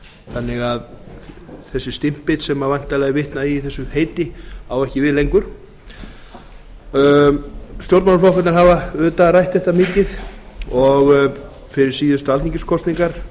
þannig að þessi stimpill sem væntanlega er vitnað í í þessu heiti á ekki við lengur stjórnmálaflokkarnir hafa auðvitað rætt þetta mikið og fyrir síðustu alþingiskosningar